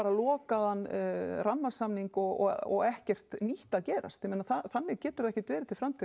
lokaðan rammasamning og og ekkert nýtt að gerast þannig getur það ekki verið til frambúðar